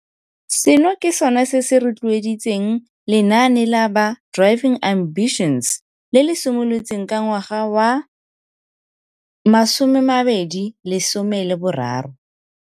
Seno ke sone se se rotloeditseng lenaane la ba Driving Ambitions, le le simolotsweng ka ngwaga wa 2013.